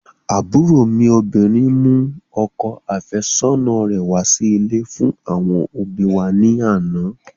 Àbúrò mi obìnrin mú ọkọ àfẹ́sọ́nà rẹ̀ wá sí ilé fún àwọn òbíi wa ní àná.